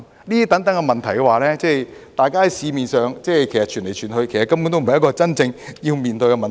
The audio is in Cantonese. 這種種問題，大家在市面上傳來傳去，其實根本不是真正要面對的問題。